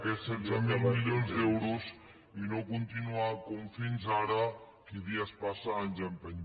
aquests setze mil milions d’euros i no continuar com fins ara qui dia passa any empeny